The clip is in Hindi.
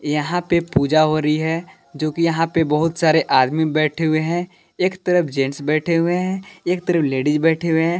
यहां पे पूजा हो रही है जो कि यहां पे बहुत सारे आदमी बैठे हुए हैं एक तरफ जेंट्स बैठे हुए हैं एक तरफ लेडीज बैठे हुए हैं।